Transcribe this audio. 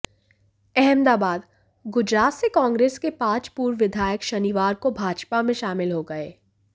अहमदाबादः गुजरात से कांग्रेस के पांच पूर्व विधायक शनिवार को भाजपा में शामिल हो गये